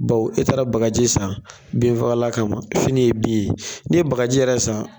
Baw e taara bagaji san binfagalan kama fini ye bin ye ni ye bagaji yɛrɛ san